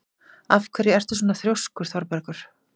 Af hverju ertu svona þrjóskur, Þorbergur?